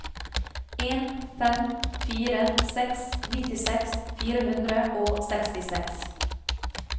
en fem fire seks nittiseks fire hundre og sekstiseks